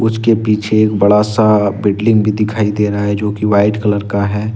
उसके पीछे एक बड़ा सा भी दिखाई दे रहा है जो कि व्हाइट कलर का है।